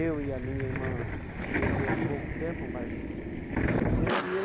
Eu e a minha irmã, que viveu pouco tempo, mas faleceu. E